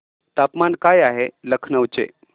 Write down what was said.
तापमान काय आहे लखनौ चे